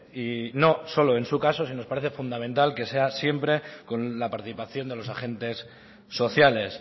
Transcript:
y no solo en su caso sino que nos parece fundamental que sea siempre con la participación de los agentes sociales